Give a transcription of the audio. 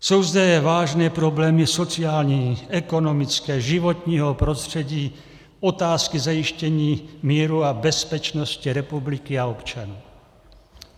Jsou zde vážné problémy sociální, ekonomické, životního prostředí, otázky zajištění míru a bezpečnosti republiky a občanů.